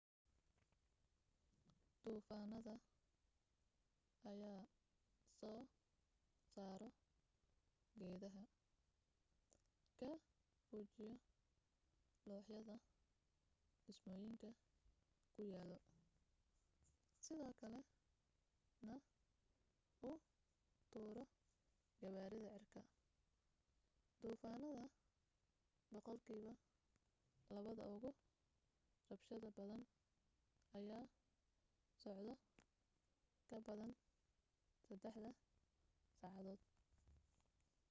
duufaanada ayaa soo saaro geedaha ka fujiyo looxyada dhismooyinka ku yaalo sidoo kale na u tuuro gawaarida cirka duufaanada boqolkiiba labada ugu rabshada badan ayaa socdo ka badan saddex saacadood